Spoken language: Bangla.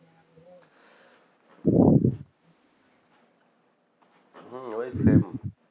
হম ওই same